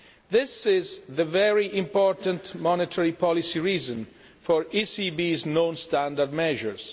This is the very important monetary policy reason for the ECB's non standard measures.